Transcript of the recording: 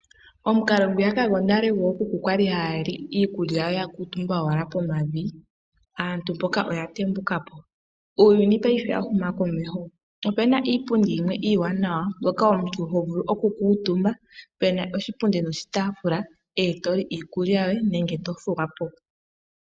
Omukalo ngwiyaka gwonale gwookuku kwali haya li iikulya ya kuutumba owala pomavi, aantu mpoka oya tembukapo, uuyuni paife owa huma komeho, opena iipundi yimwe iiwanawa mbyoka omuntu ho vulu oku kuutumba, pena oshipundi noshitaafula etoli iikulya yoye nenge to thuwapo.